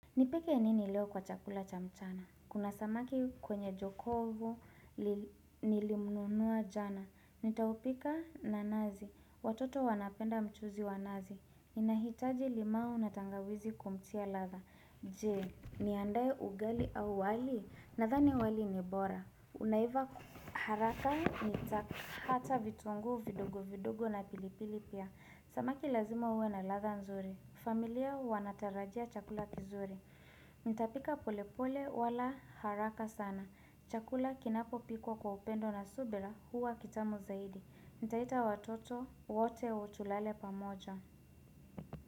Nipeke nini leo kwa chakula cha mchana? Kuna samaki kwenye jokovu nilimnunuwa jana. Nitaupika na nazi. Watoto wanapenda mchuzi wa nazi. Inahitaji limau na tangawizi kumtia ladha. Je, niandae ugali au wali? Nadhani wali ni bora. Unaiva haraka nitakata vitunguu vidogo vidogo na pilipili pia. Samaki lazima uwe na ladha nzuri. Familia wanatarajia chakula kizuri. Nitapika pole pole wala haraka sana Chakula kinapo pikwa kwa upendo na subira huwa kitamu zaidi nitaita watoto wote tulale pamoja.